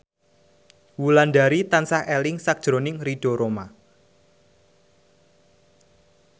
Wulandari tansah eling sakjroning Ridho Roma